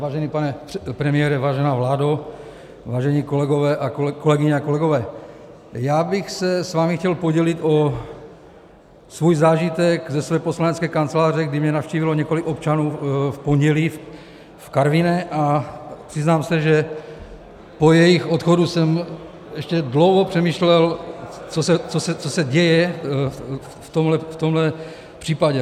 Vážený pane premiére, vážená vládo, vážené kolegyně a kolegové, já bych se s vámi chtěl podělit o svůj zážitek ze své poslanecké kanceláře, kdy mě navštívilo několik občanů v pondělí v Karviné, a přiznám se, že po jejich odchodu jsem ještě dlouho přemýšlel, co se děje v tomhle případě.